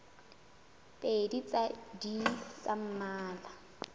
pedi tsa id tsa mmala